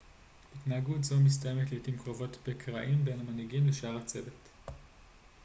התנהגות זו מסתיימת לעתים קרובות בקרעים בין המנהיגים לשאר הצוות